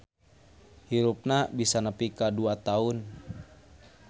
Hirupna bisa nepi ka dua taun.